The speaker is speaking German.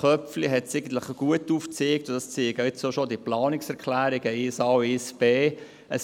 Köpfli hat es eigentlich gut aufgezeigt, so wie es auch die Planungserklärungen 1a und 1b. zeigen: